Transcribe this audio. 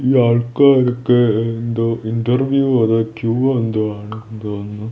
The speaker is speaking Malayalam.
ഈ ആൾക്കാർക്ക് എന്തോ ഇൻറർവ്യൂ അതോ ക്യൂവോ എന്തോ ആണ് തോന്നുന്നു.